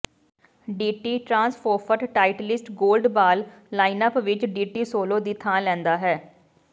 DT TruSoft Titleist golf ball lineup ਵਿੱਚ D T solo ਦੀ ਥਾਂ ਲੈਂਦਾ ਹੈ